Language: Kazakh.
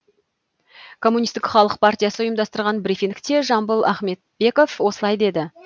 коммунистік халық партиясы ұйымдастырған брифингте жамбыл ахметбеков осылай деді